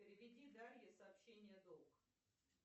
переведи дарье сообщение долг